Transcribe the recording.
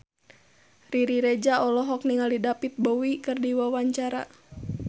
Riri Reza olohok ningali David Bowie keur diwawancara